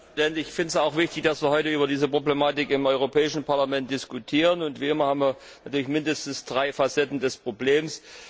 Herr Präsident! Ich finde es auch wichtig, dass wir heute über diese Problematik im Europäischen Parlament diskutieren, und wie immer haben wir natürlich mindestens drei Facetten des Problems.